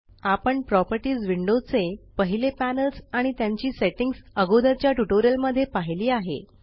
आपण properties window चे पहिले पॅनल्स आणि त्यांची सेट्टिंग्स अगोदरच्या ट्यूटोरियल मध्ये पाहिली आहे